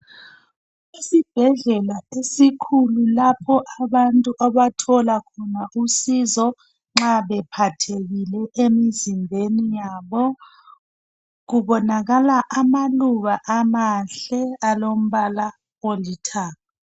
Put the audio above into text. Isibhedlela esikhulu lapho abantu abathola khona usizo nxa bephathekile emizimbeni yabo ,kubonakala amaluba amahle alombala olithanga.